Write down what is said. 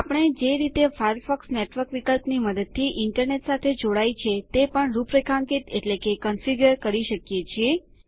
આપણે જે રીતે ફાયરફોક્સ નેટવર્ક વિકલ્પની મદદથી ઇન્ટરનેટ સાથે જોડાય છે તે પણ રૂપરેખાંકિત કરી શકીએ છીએ